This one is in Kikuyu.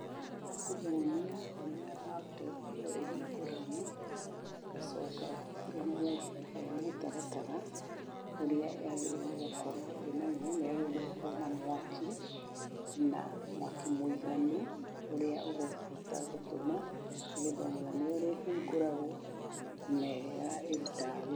Nĩ kũmũonia ũrĩa laptop ĩyo ĩhingũragwo, ngacoka ngamũhe mũtaratara ũrĩa yagĩrĩirwo nĩ gũkorwo ĩ naguo. Nĩ yagĩrĩirwo nĩ gũkorwo ĩ na mwaki, na mwaki mũiganu ũrĩa ũgũhota gũtũma- nĩgetha ũmwonie ũrĩa ĩhingũragwo na ũrĩa ĩrutaga wĩra.